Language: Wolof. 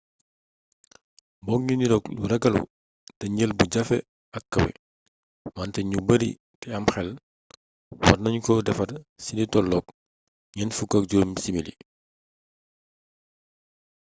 moo ngi niroog lu ragallu te njël bu jafe ak kawé wante nit yu bari té am xel warna ñu ko defar cili toloog 45 simili